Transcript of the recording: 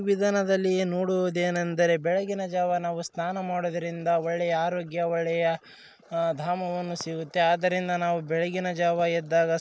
ವಿದಾನದಲ್ಲಿ ನೋಡುವುದೇನೆಂದರೆ ಬೆಳಗಿನ ಜಾವ ನಾವು ಸ್ನಾನ ಮಾಡುವುದರಿಂದ ಒಳ್ಳೆಯ ಆರೋಗ್ಯ ಒಳ್ಳೆಯ ದಾಮವನ್ನು ಸಿಗುತ್ತೆ. ಅದರಿಂದ ನಾವು ಬೆಳಗಿನ ಜಾವ ಎದ್ದಾಗ --